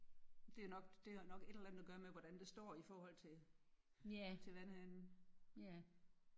Det er nok det har nok et eller andet at gøre med hvordan det står i forhold til til vandhanen